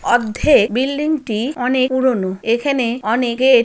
অদ্ধে বিল্ডিংটি অনেক পুরনো এখানে অনে গেট--